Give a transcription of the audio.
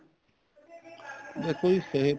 ਦੇਖੋ ਜੀ ਸਿਹਤ